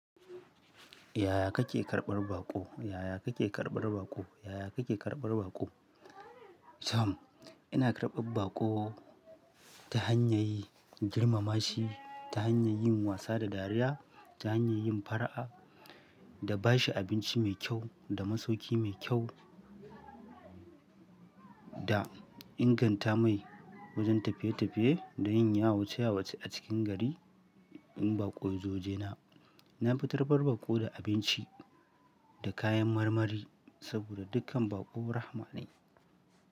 Yaya kake karɓar baƙo? Yaya kake karɓar baƙo? Yaya kake karɓar baƙo? Tom, ina karɓar baƙo ta hanyar girmama shi, ta hanyar yin wasa da dariya, ta hanyar yin fara'a da bashi abinci mai kyau da masauki mai kyau. Da inganta mai wajen tafiye-tafiye da yin yawce-yawce a cikin gari in baƙo zujena. Na fi karɓar baƙo da abinci da kayan marmari saboda dukkan baƙo rahma ne.